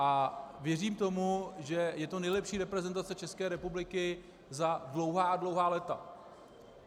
A věřím tomu, že je to nejlepší reprezentace České republiky za dlouhá a dlouhá léta.